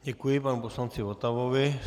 Děkuji panu poslanci Votavovi.